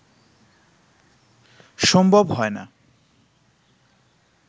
সম্ভব হয় না